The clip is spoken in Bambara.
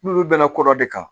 N'olu bɛnna ko dɔ de kan